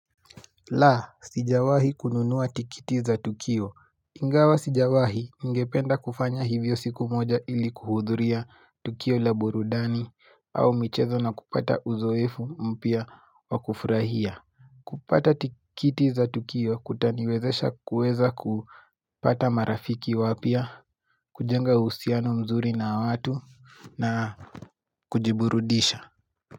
La, sijawahi kununuwa tikiti za Tukio Ingawa sijawahi ngependa kufanya hivyo siku moja ili kuhudhuria Tukio laburudani au michezo na kupata uzoefu mpia wa kufurahia kupata tikiti za Tukio kutaniwezesha kuweza kupata marafiki wapia kujenga usiano mzuri na watu na kujiburudisha.